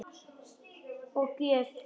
Og gjöf þína.